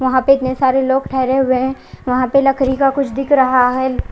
वहां पे इतने सारे लोग ठहरे हुए है वहां पर लकड़ी का कुछ दिख रहा है।